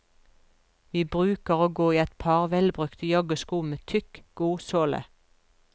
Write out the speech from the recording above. Vi bruker å gå i et par velbrukte joggesko med tykk, god såle.